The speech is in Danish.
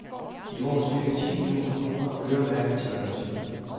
I år er cirka ti millioner kroner øremærket til agenturet.